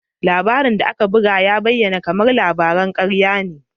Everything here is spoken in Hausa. Labarin labaran da aka buga ya bayyana kamar labaran karya ne.